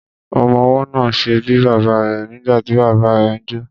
Ọmọwọ́ náà ṣe bíi bàbá rẹ̀ nígbàtí bàbá ẹ ń jó.